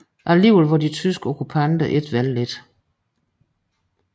Alligevel var de tyske okkupanter ikke vellidte